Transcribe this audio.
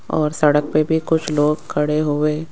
और सड़क पे भी कुछ लोग खड़े हुए--